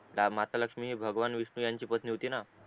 माता लक्ष्मी भगवान विष्णू यांची पत्नी होती ना